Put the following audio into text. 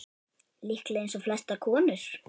Líklega eins og flestar konur.